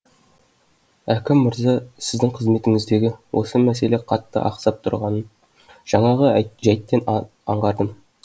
әкім мырза сіздің қызметіңіздегі осы мәселе қатты ақсап тұрғанын жаңағы жәйттен анық аңғардым